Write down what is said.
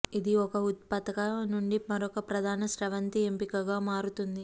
ఇది ఒక ఉత్సుకత నుండి మరొక ప్రధాన స్రవంతి ఎంపికగా మారుతుంది